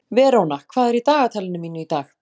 Veróna, hvað er í dagatalinu mínu í dag?